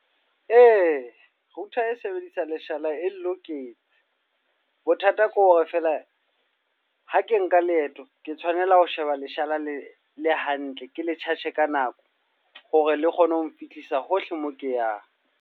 Ee, router e sebedisang leshala e nloketse. Bothata ke hore feela ha ke nka leeto, ke tshwanela ho sheba leshala le le hantle. Ke le charge ka nako, hore le kgone ho nfihlisa hohle mo ke yang.